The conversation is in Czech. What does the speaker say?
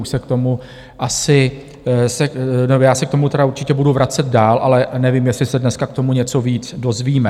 Už se k tomu asi - nebo já se k tomu tedy určitě budu vracet dál, ale nevím, jestli se dneska k tomu něco víc dozvíme.